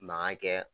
Mankan kɛ